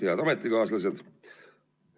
Head ametikaaslased!